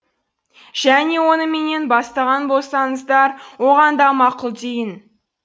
және оны менен бастаған болсаңыздар оған да мақұл дейін